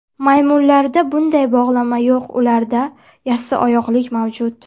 Maymunlarda bunday bog‘lama yo‘q ularda yassioyoqlik mavjud.